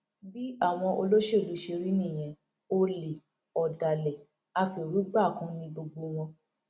bí àwọn olóṣèlú ṣe rí nìyẹn olè ọdàlẹ afẹrúgbàkun ni gbogbo wọn